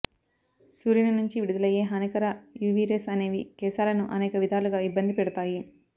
సూర్యుని నుంచి విడుదలయ్యే హానికర యువీ రేస్ అనేవి కేశాలను అనేక విధాలుగా ఇబ్బంది పెడతాయి